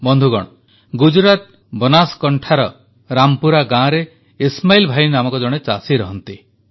ବନ୍ଧୁଗଣ ଗୁଜରାଟ ବନାସକାଣ୍ଠାର ରାମପୁରା ଗାଁରେ ଇସ୍ମାଇଲ୍ ଭାଇ ନାମକ ଜଣେ ଚାଷୀ ରହନ୍ତି